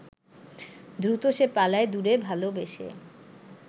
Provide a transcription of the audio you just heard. দ্রুত সে পালায় দূরে ভালবেসে